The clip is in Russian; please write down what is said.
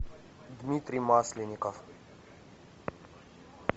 дмитрий масленников